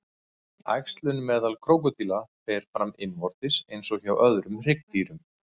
Æxlun meðal krókódíla fer fram innvortis eins og hjá öðrum hryggdýrum.